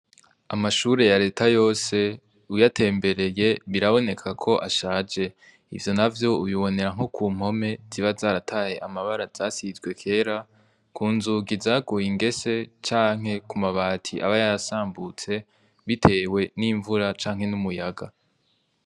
Amashure ya reta yose uyatembereye biraboneka ko ashaje, ubibonera nko kumpome ziba zarataye amabara zisizwe kera, kunzugi zaguye ingese canke ku mabati aba yaradambutse bitewe n'imvura hamwe n'umuyaga.